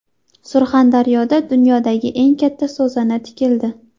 Surxondaryoda dunyodagi eng katta so‘zana tikildi.